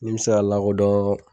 Ni me sa lakɔdɔn